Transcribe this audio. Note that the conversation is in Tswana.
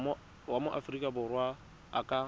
wa aforika borwa a ka